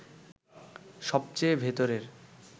সবচেয়ে ভেতরের